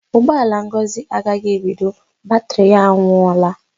Ụgbọ ala Ngozi agaghị ebido; batrị ya anwụọla.